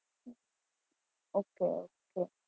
Okay okay.